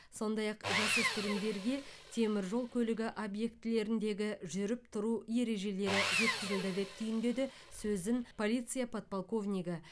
сондай ақ жасөспірімдерге темір жол көлігі объектілеріндегі жүріп тұру ережелері жеткізілді деп түйіндеді сөзін полиция подполковнигі